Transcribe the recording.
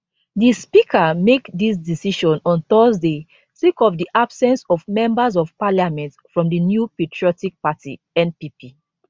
di speaker make dis decision on thursday sake of di absence of members of parliament from di new patriotic party npp